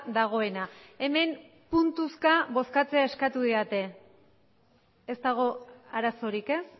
dagoena hemen puntuzka bozkatzea eskatu didate ez dago arazorik ez